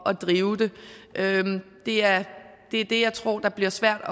at drive den det er er det jeg tror der bliver svært at